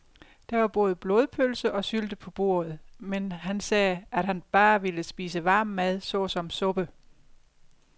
Der var både blodpølse og sylte på bordet, men han sagde, at han bare ville spise varm mad såsom suppe.